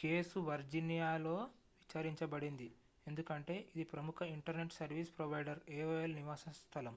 case వర్జీనియాలో విచారించబడింది ఎందుకంటే ఇది ప్రముఖ ఇంటర్నెట్ సర్వీస్ ప్రొవైడర్ aol నివాస స్థలం